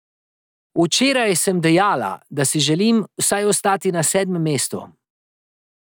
Včeraj sem dejala, da si želim vsaj ostati na sedmem mestu.